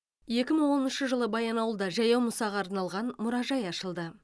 екі мың оныншы жылы баянауылда жаяу мұсаға арналған мұражай ашылды